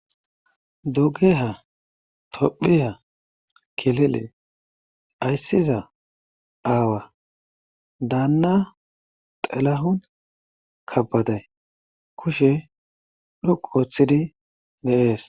Dugeha tophiya kilile ayssiza aawa daanna xelahun kabbaday kushe dhoqu ooththidi deees.